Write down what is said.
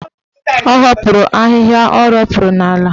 Ọ hapụrụ ahịhịa o ropuru n'ala.